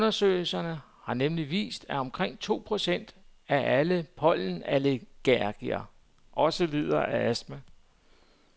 Undersøgelser har nemlig vist, at omkring to procent af alle pollenallergikere også lider af astma.